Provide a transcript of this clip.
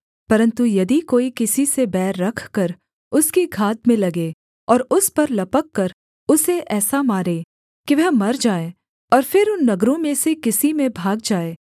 परन्तु यदि कोई किसी से बैर रखकर उसकी घात में लगे और उस पर लपककर उसे ऐसा मारे कि वह मर जाए और फिर उन नगरों में से किसी में भाग जाए